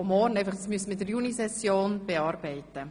Traktandum 57 müssen wir unbedingt in der Junisession bearbeiten.